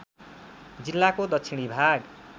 जिल्लाको दक्षिणी भाग